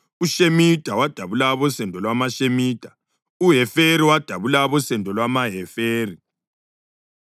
uShemida wadabula abosendo lwamaShemida; uHeferi wadabula abosendo lwamaHeferi.